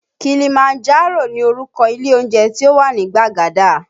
Kilimanjaro ni orúkọ ilé oúnjẹ tí ó wà ní Gbagada